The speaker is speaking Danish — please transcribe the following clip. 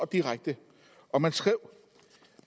direkte og man skrev